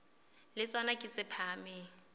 le tsona ke tse phahameng